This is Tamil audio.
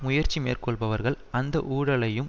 முயற்சி மேற்கொள்பவர்கள் அந்த ஊழலையும்